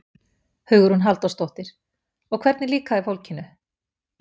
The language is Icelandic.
Hugrún Halldórsdóttir: Og hvernig líkaði fólkinu?